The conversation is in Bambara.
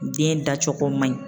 Den dacogo man ɲi.